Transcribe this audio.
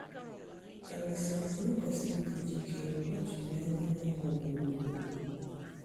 Karịsịa, anyị kwesịrị ịdị njikere mgbe a chụziri anya anyanwụ ugboro ugboro.